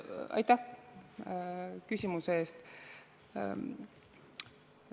Aitäh küsimuse eest!